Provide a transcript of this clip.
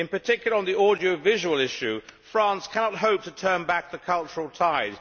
In particular, on the audiovisual issue, France cannot hope to turn back the cultural tide.